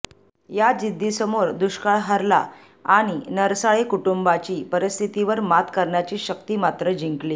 या जिद्दीसमोर दुष्काळ हरला आणि नरसाळे कुटुंबाची परिस्थितीवर मात करण्याची शक्ती मात्र जिंकली